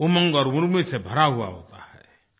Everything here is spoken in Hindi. उमंग और उर्मि से भरा हुआ होता है